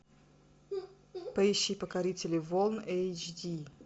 поищи покорители волн эйч ди